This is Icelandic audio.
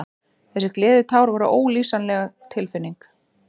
Þessi gleðitár voru ólýsanleg tilfinning.